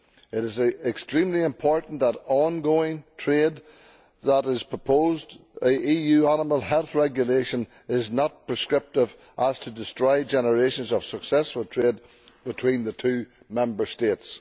It is extremely important for on going trade that the proposed EU Animal Health Regulation is not so prescriptive as to destroy generations of successful trade between two Member States.